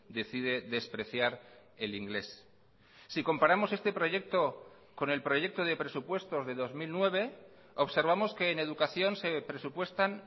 decide despreciar el inglés si comparamos este proyecto con el proyecto de presupuestos de dos mil nueve observamos que en educación se presupuestan